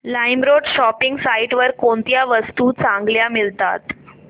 LimeRoad shopping site वर कोणत्या वस्तू चांगल्या मिळतात